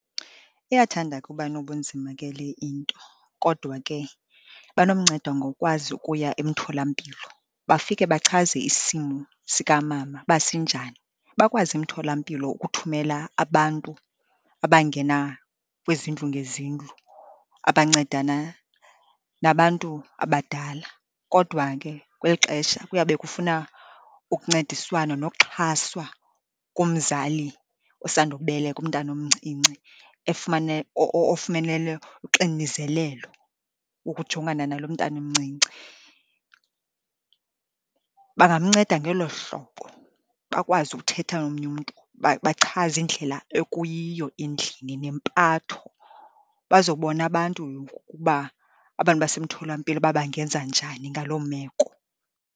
Iyathanda ke ukuba nobunzima ke le into kodwa ke banomnceda ngokwazi ukuya emtholampilo, bafike bachaze isimo sikamama uba sinjani. Bakwazi emtholampilo ukuthumela abantu abangena kwizindlu ngezindlu, abancedana nabantu abadala, kodwa ke kweli xesha kuyabe kufuna ukuncediswano nokuxhaswa komzali osandukubeleka umntana omncinci, ofumenele uxinizelelo ukujongana nalo mntana umncinci. Bangamnceda ngelo hlobo, bakwazi ukuthetha omnye umntu, bachaze indlela ekuyiyo endlini nempatho. Bazobona abantu ukuba, abantu basemtholampilo, ukuba bangenza njani ngaloo meko.